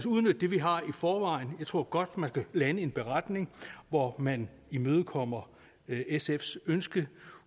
udnytte det vi har i forvejen jeg tror godt man kan lande en beretning hvor man imødekommer sfs ønske